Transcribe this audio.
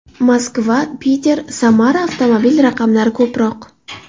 Moskva, Piter, Samara avtomobil raqamlari ko‘proq.